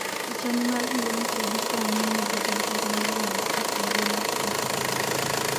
picha ni mar Beyonce gie sani nigi johera milion apar e mbui mar Instagram